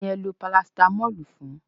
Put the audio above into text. Kí ni ẹ lo Parasitamọ́ọ̀lù fún?